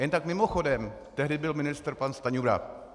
Jen tak mimochodem, tehdy byl ministrem pan Stanjura.